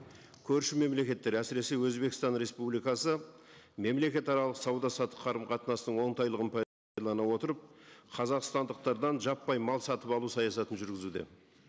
көрші мемлекеттер әсіресе өзбекстан республикасы мемлекетаралық сауда саттық қарымқатынастың оңтайлығын отырып қазақстандықтардан жаппай мал сатып алу саясатын жүргізуде